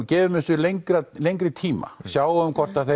gefum þessu lengri lengri tíma sjáum hvort það